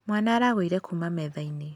Mwaana aragũire kuuma metha-inĩ.